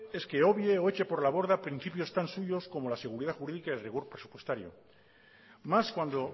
es que obvie o eche por la borda principios tan suyos como la seguridad jurídica y el rigor presupuestario más cuando